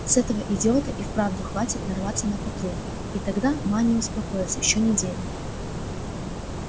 с этого идиота и вправду хватит нарваться на патруль и тогда ма не успокоится ещё неделю